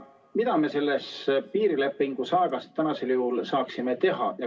Mida me selles piirilepingu saagas praegu saaksime teha?